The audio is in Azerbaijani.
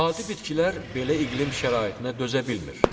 Adi bitkilər belə iqlim şəraitinə dözə bilmir.